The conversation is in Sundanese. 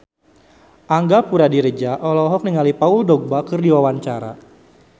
Angga Puradiredja olohok ningali Paul Dogba keur diwawancara